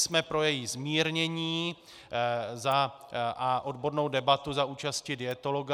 Jsme pro její zmírnění a odbornou debatu za účasti dietologa.